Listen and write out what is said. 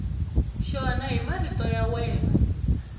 xona hi marito ya wena